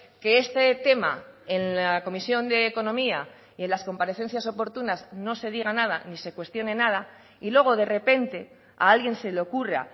que este tema en la comisión de economía y en las comparecencias oportunas no se diga nada ni se cuestione nada y luego de repente a alguien se le ocurra